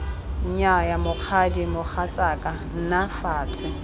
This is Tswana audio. nnyaya mokgadi mogatsaka nna fatshe